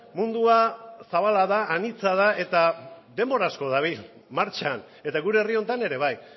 mundua zabala da anitza da eta denbora asko dabil martxan eta gure herri honetan ere bai